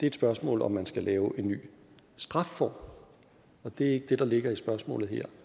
et spørgsmål om man skal lave en ny strafform og det er ikke det der ligger i spørgsmålet her